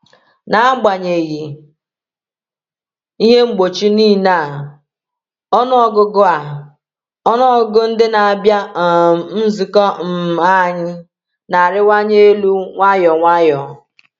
N’agbanyeghị ihe mgbochi niile a, ọnụ ọgụgụ a, ọnụ ọgụgụ ndị na-abịa um nzukọ um anyị na-arịwanye elu nwayọ nwayọ.